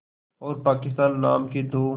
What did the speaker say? और पाकिस्तान नाम के दो